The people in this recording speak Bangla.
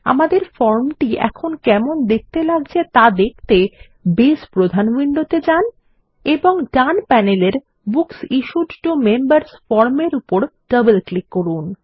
আমাদের ফর্মটি এখন কেমন দেখতে লাগছে তা দেখতে বেস প্রধান উইন্ডোতে যান এবং ডান প্যানেলের বুকস ইশ্যুড টো মেম্বার্স ফর্মের উপর ডবল ক্লিক করুন